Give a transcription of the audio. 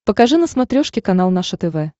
покажи на смотрешке канал наше тв